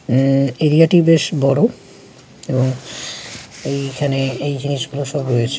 অ্যা - অ্যা এরিয়াটি বেশ বড়ো এবং এইখানে এই জিনিস গুলো সব রয়েছে।